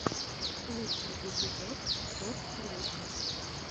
лучший эпизод топ трендинг